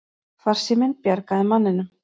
Farsíminn bjargaði manninum